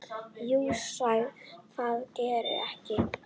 Jú, það gerði ég.